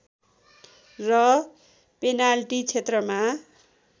र पेनाल्टी क्षेत्रमा